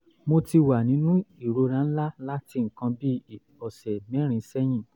mo ti ti wà nínú ìrora ńlá láti nǹkan bíi ọ̀sẹ̀ mẹ́rin sẹ́yìn